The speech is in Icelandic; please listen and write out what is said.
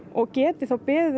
og geti þá beðið